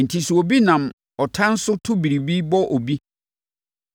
Enti, sɛ obi nam ɔtan so to biribi bɔ obi, anaasɛ ɔtetɛ no,